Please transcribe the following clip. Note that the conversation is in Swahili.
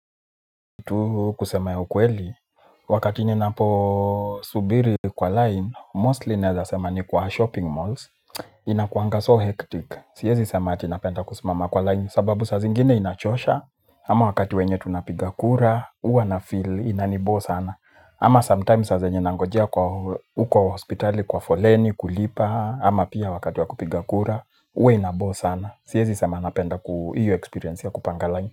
Tu kusema ya ukweli, wakati ninapo subiri kwa line, mostly naeza sema ni kwa shopping malls, inakuanga so hectic. Siezi sema ati napenda kusimama kwa line, sababu sa zingine inachosha, ama wakati wenye tunapigakura, huwa na feel inaniboo sana. Ama sometimes sa zenye nangojea uko hospitali kwa foleni, kulipa, ama pia wakati wa kupiga kura, huwa inaboo sana. Siyezi sema napenda kuu hiyo experience ya kupanga line.